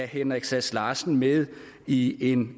henrik sass larsen med i en